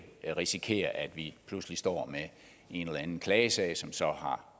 risikere at vi pludselig står med en eller anden klagesag som så har